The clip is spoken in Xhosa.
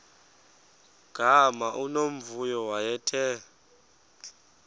gama unomvuyo wayethe